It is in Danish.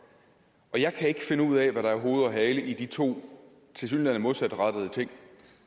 jeg kan ikke finde ud af hvad der er hoved og hale i de to tilsyneladende modsatrettede ting